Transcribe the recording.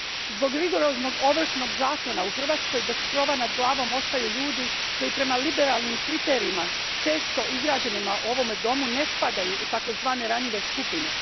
Zbog rigoroznog ovršnog zakona, u Hrvatskoj bez krova nad glavom ostaju ljudi koji prema liberalnim kriterijima često izrađenima u ovome domu ne spadaju u takozvane ranjive skupine.